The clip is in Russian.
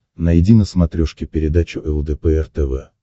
найди на смотрешке передачу лдпр тв